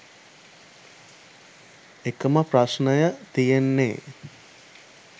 එකම ප්‍රශ්නය තියෙන්නේ